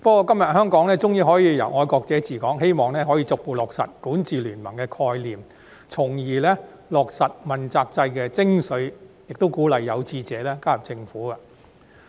不過，香港今天終於可以由"愛國者治港"，希望可以逐步落實管治聯盟的概念，從而落實問責制的精髓，亦鼓勵有志者加入政府工作。